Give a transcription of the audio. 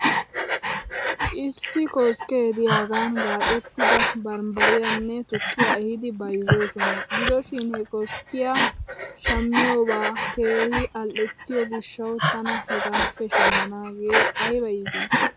Issi koskke diyaagan gaacettida banbbariyaanne tukkiyaa ehidi bayzzoosona. Gido shin he keskkiyan shammiyoobaa keehi al'ettiyoo gishshaw tana hegaappe shamanaagee ayba iitii?